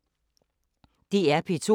DR P2